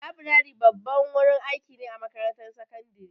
Laburare babban wurin aiki ne a makarantar sakandare.